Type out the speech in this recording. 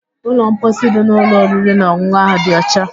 Ụlọ mposi dị n'ụlọ oriri na ọn̄ụn̄ụ ahụ dị ọcha